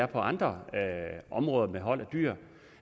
på andre områder med hold af dyr